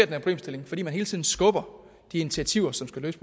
problemstilling fordi man hele tiden skubber de initiativer som skal løse